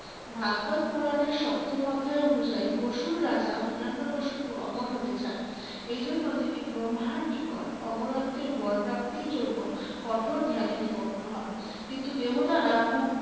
ভাগ্বত পূরাণের সপ্তম অধ্যায় অনুযায়ী অসূর রাজা হিরণ্যকশিপু অমর হতে চান। এই জন্য তিনি ব্রহ্মার নিকট অমরত্বের বর প্রাপ্তির জন্য কঠোর ধ্যানে নিমগ্ন হন। কিন্তু দেবতারা খুব